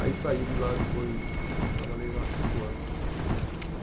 Aí saí de lá depois, trabalhei lá cinco anos.